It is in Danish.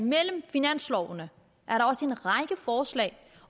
mellem finanslovene også